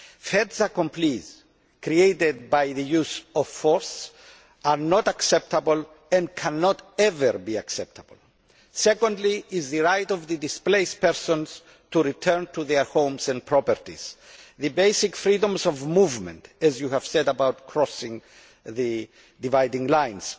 Faits accomplis created by the use of force are not acceptable and can never be acceptable. Secondly, there is the right of displaced persons to return to their homes and properties the basic freedom of movement, as you said, to cross the dividing lines.